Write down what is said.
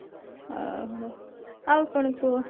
ଓଃ ହୋ ଆଉ କଣ କୁହ